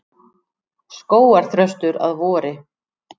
Skógarþröstur að vori.